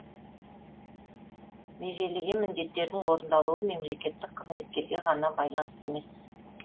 межелеген міндеттердің орындалуы мемлекеттік қызметкерге ғана байланысты емес